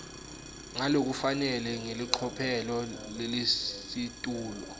ngalokufanele ngelicophelo lelisetulu